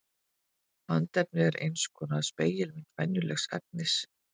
Andefni er eins konar spegilmynd venjulegs efnis.